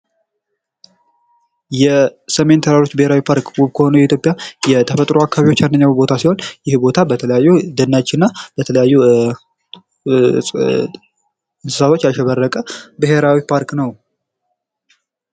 የሰሜን ተራሮች ብሔራዊ ፓርክ ውብ ከሆኑ የኢትዮጵያ የተፈጥሮ አካባቢዎች አንደኛው ሲሆን ይህ ቦታ በተለያዩ ደኖችና በተለያዩ እንስሳቶች ያሸበረቀ ብሔራዊ ፓርክ ነው።